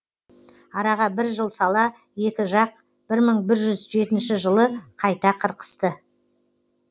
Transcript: араға бір жыл сала екі жақ бір мың бір жүз жеті жылы қайта қырқысты